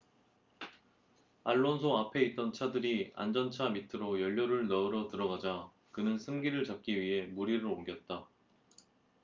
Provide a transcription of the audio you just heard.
알론소 앞에 있던 차들이 안전차 밑으로 연료를 넣으러 들어가자 그는 승기를 잡기 위해 무리를 옮겼다